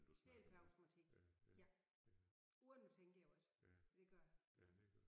Helt per automatik ja uden at tænke over det det gør jeg